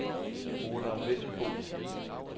Olav Vendelbo